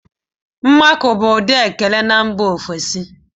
Mmakọ bụụrụ ụdị ekele na mba ofesi.